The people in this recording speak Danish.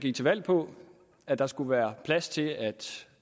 gik til valg på at der skulle være plads til at